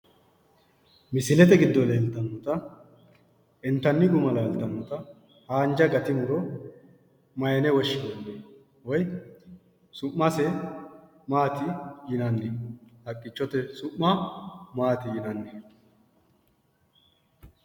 Misilete giddo leeltannota intanni guma. laaltannota haanja muro mayine woshinanni su'mase mayine woshshinanni woyi haqqichote su'ma mayine woshshinanni?